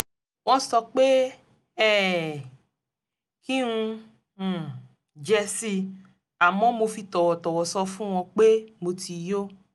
wọ́n sọ pé um kí n um jẹ si àmọ́ mo fi tọ̀wọ̀tọ̀wọ̀ sọ fún wọn pé mo ti yó